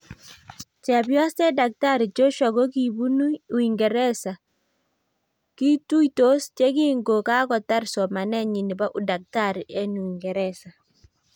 chepyoset daktari Joshua kokipunui uingereza kokipunu uingereza kituitos yekingo kakotar somanet nyi nebo udaktari eng uingereza